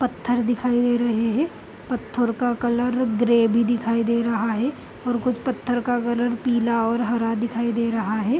पत्थर दिखाई दे रहे हैं पत्थर का कलर ग्रे भी दिखाई दे रहा हैं और कुछ पत्थर का कलर पीला और हरा दिखाई दे रहा हैं।